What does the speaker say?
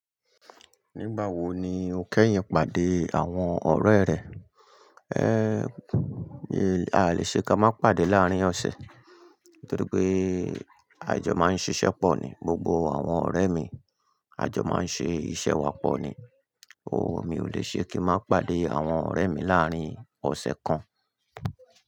Nígbà wo ni o kẹ́yìn pàdé àwọn ọ̀rẹ́ rẹ? Ehn, a lè ṣe ká má pàdé láàárín ọ̀sẹ̀ torí pé àjọ máa ń ṣiṣẹ́ pọ̀ ni. Gbogbo àwọn ọ̀rẹ́ mi, àjọ má ń ṣe iṣẹ́ wa pọ̀ ni. Ooo, mi ò lè ṣe kí n má pàdé àwọn ọ̀rẹ́ mi láàárín ọ̀sẹ̀ kan.